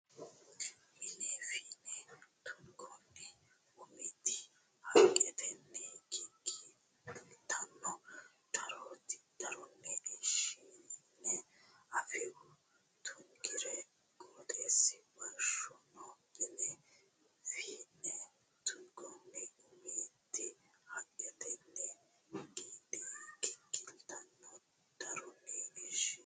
Mine fiine tungoonni umiti haqqetenni giggiltanno daronna ishine anfiwa tungiro qooxeessa boshshanno Mine fiine tungoonni umiti haqqetenni giggiltanno daronna ishine.